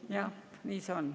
Jah, nii see on.